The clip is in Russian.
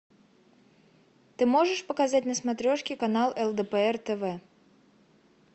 ты можешь показать на смотрешке канал лдпр тв